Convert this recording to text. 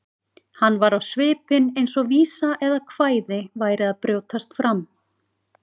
Hann var á svipinn eins og vísa eða kvæði væri að brjótast fram.